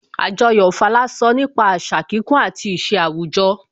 Àjọyọ̀ Ofala sọ nípa àṣà kíkún àti ìṣe àwùjọ